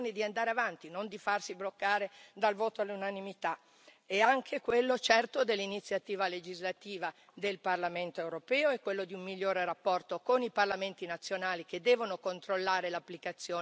È anche quello, certo, dell'iniziativa legislativa del Parlamento europeo, è quello di un migliore rapporto con i parlamenti nazionali, che devono controllare l'applicazione delle norme europee da parte dei loro governi.